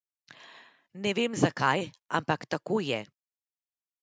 Ne vem, zakaj, ampak tako je.